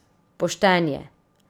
Pošten je.